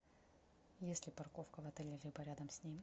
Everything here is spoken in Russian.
есть ли парковка в отеле либо рядом с ним